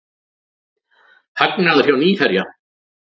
Hagnaður hjá Nýherja